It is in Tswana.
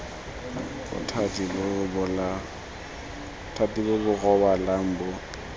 bothati bo bo rebolang bo